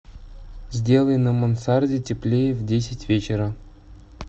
сделай на мансарде теплее в десять вечера